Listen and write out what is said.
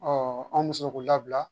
an bɛ se k'o labila